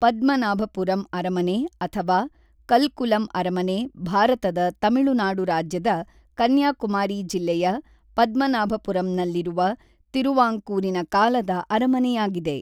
ಪದ್ಮನಾಭಪುರಂ ಅರಮನೆ ಅಥವಾ ಕಲ್ಕುಲಂ ಅರಮನೆ ಭಾರತದ ತಮಿಳುನಾಡು ರಾಜ್ಯದ ಕನ್ಯಾಕುಮಾರಿ ಜಿಲ್ಲೆಯ ಪದ್ಮನಾಭಪುರಂನಲ್ಲಿರುವ ತಿರುವಾಂಕೂರಿನ ಕಾಲದ ಅರಮನೆಯಾಗಿದೆ.